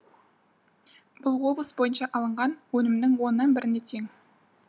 бұл облыс бойынша алынған өнімнің оннан біріне тең